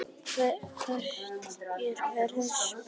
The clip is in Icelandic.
Laugi, hvernig er veðurspáin?